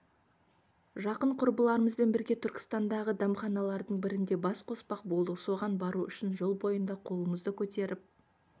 жақын құрбыларымызбен бірге түркістандағы дәмханалардың бірінде бас қоспақ болдық соған бару үшін жол бойында қолымызды көтеріп